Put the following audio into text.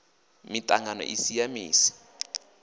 miṱangano i si ya misi